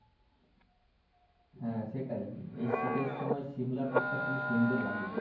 হ্যাঁ সেটাই এই শীতের সময় সিমলা tour টা খুবই সুন্দর লাগে।